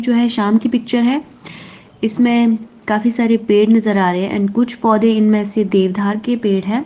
जो है शाम की पिक्चर है इसमें काफी सारे पेड़ नज़र आ रहे है एंड कुछ पौधे इनमें से देवधार के पेड़ है।